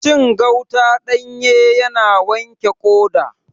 Cin gauta ɗanye yana wanke ƙoda